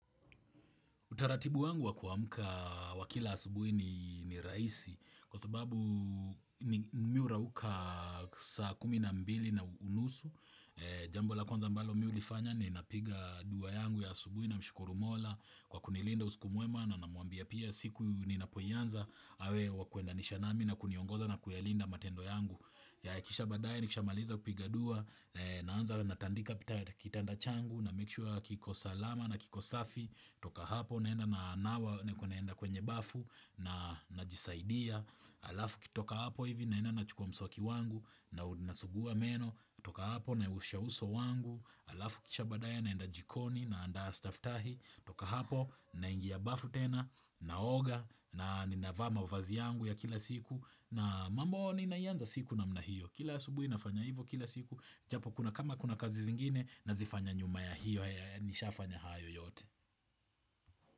Utaratibu wangu wa kuamka wa kila asubuhi ni rahisi kwa sababu mi hurauka saa kumi na mbili na unusu. Jambo la kwanza ambalo mi hulifanya ninapiga dua yangu ya asubuhi namshukuru mola kwa kunilinda usiku mwema na namwambia pia siku ninapoianza awe wa kuendanisha nami na kuniongoza na kuyalinda matendo yangu. Kisha baadae nikishamaliza kupiga dua, naanza natandika kitanda changu, na make sure kiko salama na kiko safi, toka hapo naenda na nawa niko naenda kwenye bafu na najisaidia, alafu kutoka hapo hivi naenda nachukua mswaki wangu na nasugua meno, kutoka hapo naiosha uso wangu, alafu kisha baadaye naenda jikoni naandaa staftahi, toka hapo naingia bafu tena, naoga na ninavaa mavazi yangu ya kila siku na mambo ninaianza siku namna hiyo Kila asubuhi nafanya hivo kila siku Japo kama kuna kazi zingine nazifanya nyuma ya hiyo Nishafanya hayo yote.